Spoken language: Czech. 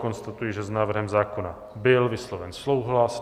Konstatuji, že s návrhem zákona byl vysloven souhlas.